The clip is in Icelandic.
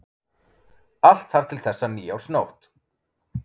Allt þar til þessa nýársnótt.